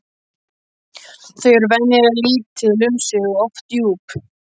Þau eru venjulega lítil um sig og oft djúp.